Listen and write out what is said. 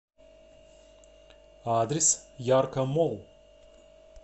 адрес яркомолл